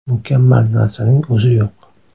Mukammal narsaning o‘zi yo‘q.